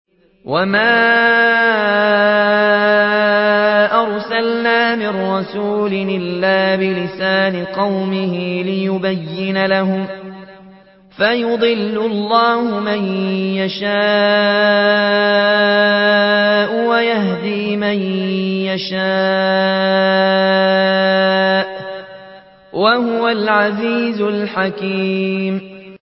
وَمَا أَرْسَلْنَا مِن رَّسُولٍ إِلَّا بِلِسَانِ قَوْمِهِ لِيُبَيِّنَ لَهُمْ ۖ فَيُضِلُّ اللَّهُ مَن يَشَاءُ وَيَهْدِي مَن يَشَاءُ ۚ وَهُوَ الْعَزِيزُ الْحَكِيمُ